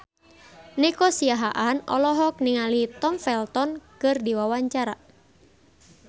Nico Siahaan olohok ningali Tom Felton keur diwawancara